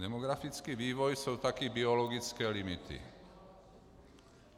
Demografický vývoj jsou taky biologické limity.